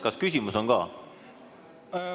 Kas küsimus on ka?